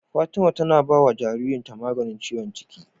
Fatima tAna bawa jaririn ta maganin ciwon ciki